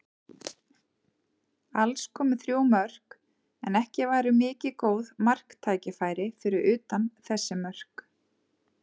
Alls komu þrjú mörk, en ekki var mikið um góð marktækifæri fyrir utan þessi mörk.